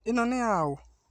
Ĩno nĩ ya ũ?